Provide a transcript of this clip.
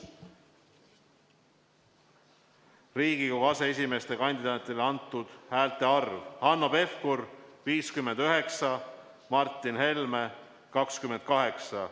Riigikogu aseesimehe kandidaatidele antud häälte arv: Hanno Pevkur – poolt antud 59 häält, Martin Helme – 28.